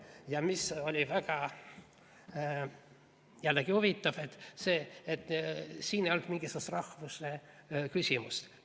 Ja mis oli jällegi väga huvitav – see, et siin ei olnud mingisugust rahvusküsimust.